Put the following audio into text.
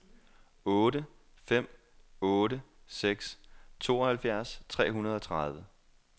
otte fem otte seks tooghalvfjerds tre hundrede og tredive